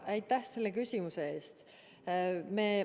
Aitäh selle küsimuse eest!